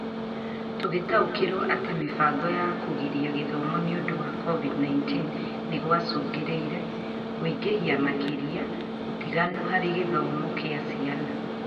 Tũgĩtaũkĩrwo atĩ mĩbango ya kũgiria gĩthomo nĩ ũndũ wa COVID-19 nĩgwacũngĩrĩirie kũingĩhia makĩria ũtiganu harĩ gĩthomo kĩa ciana